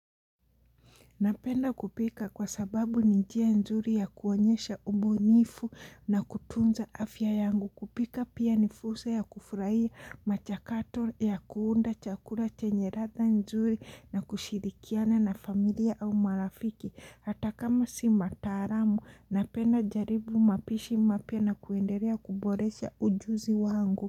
Napenda kupika kwa sababu ni njia nzuri ya kuonyesha ubunifu na kutunza afya yangu. Kupika pia ni fursa ya kufurahia machakato ya kuunda chakula chenye ladha nzuri na kushirikiana na familia au marafiki. Hatakama si mataalam, napenda jaribu mapishi mapya na kuendelea kuboresha ujuzi wangu.